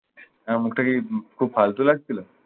আমার মুখটা কি খুব ফালতু লাগছিল?